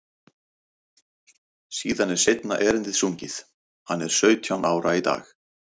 Síðan er seinna erindið sungið, Hann er sautján ára í dag.